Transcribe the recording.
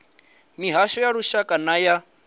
mihasho ya lushaka nay a